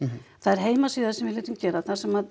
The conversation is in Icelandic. það er heimasíða sem við létum gera þar sem